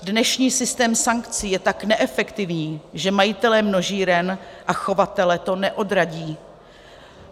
Dnešní systém sankcí je tak neefektivní, že majitele množíren a chovatele to neodradí.